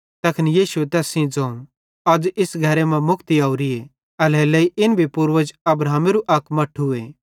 तैखन यीशुए तैस सेइं ज़ोवं अज़ इस घरे मां मुक्ति ओरिए एल्हेरेलेइ इन भी पूर्वज अब्राहमेरू अक मट्ठूए